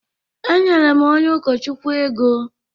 Enyere m onye ụkọchukwu ego.